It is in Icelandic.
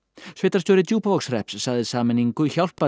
sveitarstjóri Djúpavogshrepps sagði sameiningu hjálpa